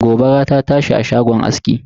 Gobara ta tashi a shagon aski.